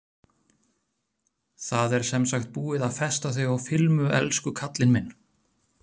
Það er sem sagt búið að festa þig á filmu, elsku kallinn minn.